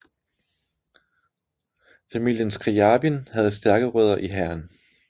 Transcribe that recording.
Familien Skrjabin havde stærke rødder i hæren